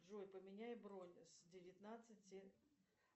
джой поменяй бронь с девятнадцати